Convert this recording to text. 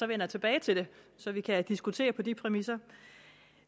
vender tilbage til det så vi kan diskutere på de præmisser